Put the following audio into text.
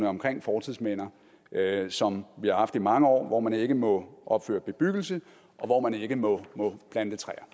omkring fortidsminder som vi har haft i mange år hvor man ikke må opføre bebyggelse og hvor man ikke må plante træer